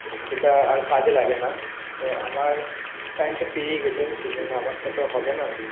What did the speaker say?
সেটা আর কাজে লাগেনা তো আমার time টা পেরিয়ে গেছে সেই জন্য আমারটা তো হবেনা